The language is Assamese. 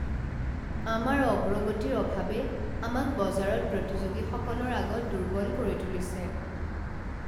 আমাৰ অগ্ৰগতিৰ অভাৱে আমাক বজাৰত প্ৰতিযোগীসকলৰ আগত দুৰ্বল কৰি তুলিছে।